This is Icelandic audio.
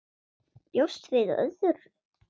Bjóstu við öðru?